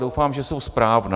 Doufám, že jsou správná.